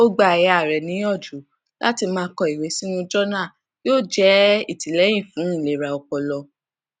ó gba ìyá rẹ níyànjú láti máa kọ ìwé sínú jọnà yóò jẹ ìtìlẹyìn fún ìlera ọpọlọ